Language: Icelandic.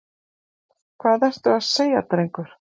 Hvað ertu að segja, drengur?